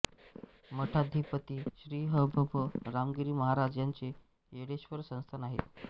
मठाधिपती श्री ह भ प रामगिरी महाराज यांचे येळेश्व़र संस्थान आहे